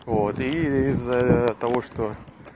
вот и из-за того что